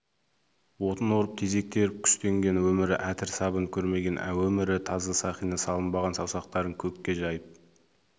отын орып тезек теріп күстенген өмірі әтір сабын көрмеген өмірі таза сақина салынбаған саусақтарын көкке жайып